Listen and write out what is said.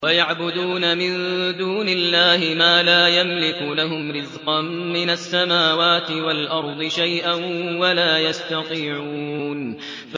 وَيَعْبُدُونَ مِن دُونِ اللَّهِ مَا لَا يَمْلِكُ لَهُمْ رِزْقًا مِّنَ السَّمَاوَاتِ وَالْأَرْضِ شَيْئًا وَلَا يَسْتَطِيعُونَ